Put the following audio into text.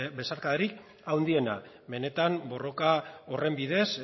besarkadarik handiena benetan borroka horren bidez